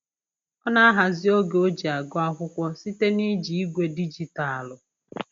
Ọ na-ahazi oge o ji agụ akwụkwọ site na-iji igwe dijitaalụ